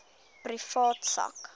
privaat sak